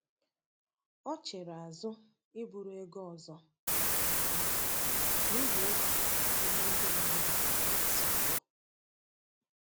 Ọ chere azụ iburu ego ọzọ um n’ihi egwu ihe ndị mmadụ ga-esi kwuo.